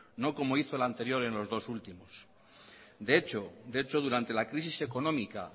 no como hizo el anterior en los dos últimos de hecho durante la crisis económica